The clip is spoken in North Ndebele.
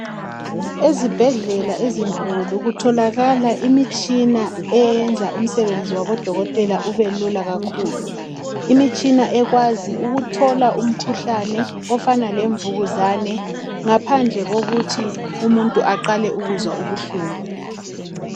Ezibhedlela ezinkulu kutholakala imitshina eyenza umsebenzi wabodokotela ubelula kakhulu. Ikhona imitshina ekwazi ukuthola umkhuhlane ofana lemvukuza ngaphandle kokuthi umuntu aqale ukuzwa ubuhlungu.